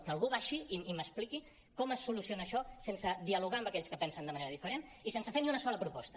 que algú baixi i m’expliqui com es soluciona això sense dialogar amb aquells que pensen de manera diferent i sense fer ni una sola proposta